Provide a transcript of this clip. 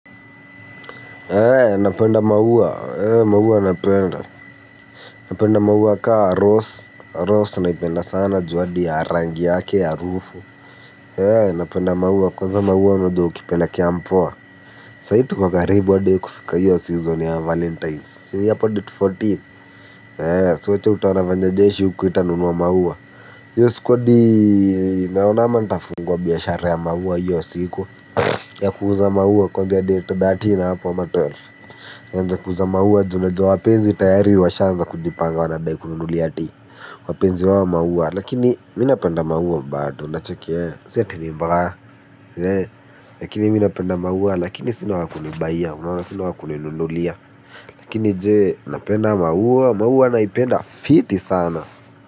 Ee napenda maua ee maua napenda napenda maua kaa rose rose naipenda sana juu adi ya rangi yake arufu ee napenda maua kwanza maua unajua ukipelekea mpoa sahii tuko karibu adi kufika hio season ya valentines si ni a lpo date kumi na nne si uwache utaona venye jeshi uku itanunuwa maua hio siku adi naona ama ntafunguwa biashara ya maua hio siku ya kuuza maua kuaga date kumi na tatu hapo ama kumi na mbili, nianze kuuza maua juu najua wapenzi tayari washaanza kujipanga wanadai kununulia ati wapenzi wao maua lakini mi napenda maua bado unacheki si ati ni mbaya lakini mi napenda maua lakini sina wa kunibayia unaona sina wa kuninunulia lakini jee, napenda maua? Maua naipenda fiti sana.